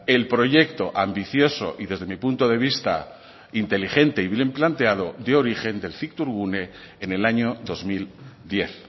el proyecto ambicioso y desde mi punto de vista inteligente y bien planteado de origen del cictourgune en el año dos mil diez